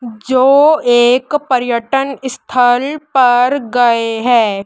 जो एक पर्यटन स्थल पर गए हैं।